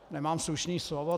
Nemám slušné slovo.